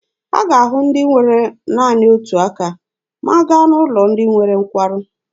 A ga-ahụ ndị nwere naanị otu aka ma a gaa n'ụlọ ndị nwere nkwarụ.